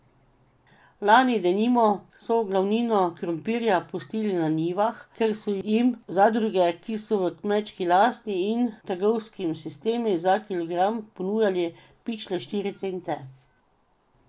Lani denimo so glavnino krompirja pustili na njivah, ker so jim zadruge, ki so v kmečki lasti, in trgovski sistemi za kilogram ponujali pičle štiri cente.